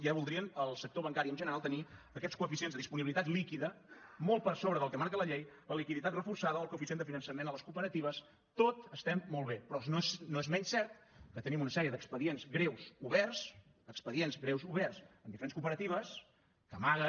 ja voldrien el sector bancari en general tenir aquests coeficients de disponibilitat líquida molt per sobre del que marca la llei la liquiditat reforçada o el coeficient de finançament a les cooperatives tot està molt bé però no és menys cert que tenim una sèrie d’expedients greus oberts expedients greus oberts en diferents cooperatives que amaguen